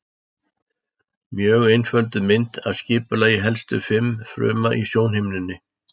Mjög einfölduð mynd af skipulagi helstu fruma í sjónhimnunni.